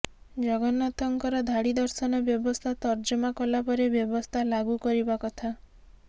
ଜଗନ୍ନାଥଙ୍କର ଧାଡି ଦର୍ଶନ ବ୍ୟବସ୍ଥା ତର୍ଜମା କଲା ପରେ ବ୍ୟବସ୍ଥା ଲାଗୁ କରିବା କଥା